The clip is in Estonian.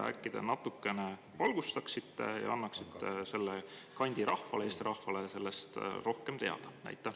Äkki te natukene valgustaksite meid ning annaksite selle kandi rahvale ja kogu Eesti rahvale sellest rohkem teada?